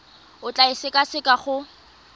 o tla e sekaseka go